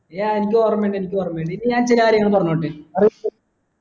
ya എനിക്കോർമിണ്ട് എനിക്കൊരമിണ്ട് ഇനി ഞാൻ ചില കാര്യങ്ങൾ പറഞ്ഞോട്ടെ